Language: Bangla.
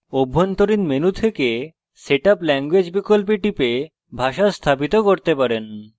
অভ্যন্তরীণ menu থেকে setup language বিকল্পে টিপে ভাষা স্থাপিত করতে পারেন